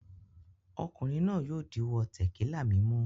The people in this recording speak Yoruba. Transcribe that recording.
Ọkùnrin náà yóò díwọ́ tẹ̀kílà mímu.